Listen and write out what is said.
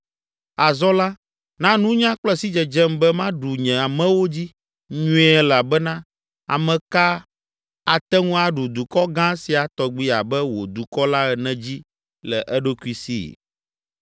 Azɔ la, na nunya kple sidzedzem be maɖu nye amewo dzi nyuie elabena ame ka ate ŋu aɖu dukɔ gã sia tɔgbi abe wò dukɔ la ene dzi le eɖokui si?”